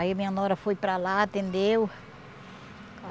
Aí, minha nora foi para lá, atendeu.